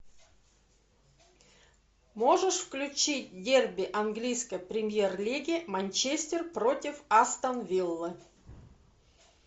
можешь включить дерби английской премьер лиги манчестер против астон виллы